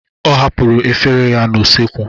Ọ hapụrụ efere ya n'usekwu.